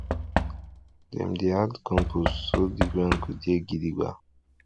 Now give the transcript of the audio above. dem dey add compost so di ground go dey gidigba